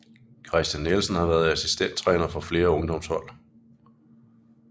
Christian Nielsen har været assistenttræner for flere ungdomshold